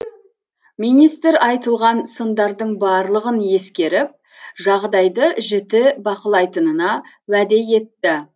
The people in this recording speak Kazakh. министр айтылған сындардың барлығын ескеріп жағдайды жіті бақылайтынына уәде етті